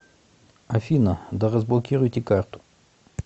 афина да разблокируйте карту